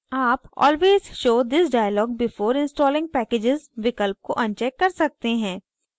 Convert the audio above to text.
आप always show this dialog before installing packages विकल्प को अनचेक कर सकते हैं